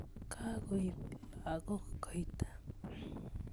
Kakoib lakok koita